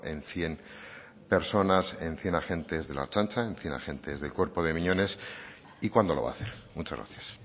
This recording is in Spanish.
en cien personas en cien agentes de la ertzaintza en cien agentes del cuerpo de miñones y cuando lo va a hacer muchas gracias